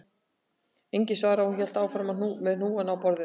Enginn svaraði og hún hélt áfram með hnúana á borðinu